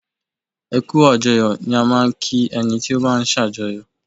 Ẹ kú àjọyọ̀ ni a máa ń kí ẹni tí ó bá ń sàjọyọ̀.